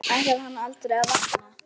Ætlar hann aldrei að vakna?